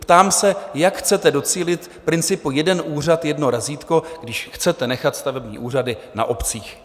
Ptám se, jak chcete docílit principu jeden úřad - jedno razítko, když chcete nechat stavební úřady na obcích.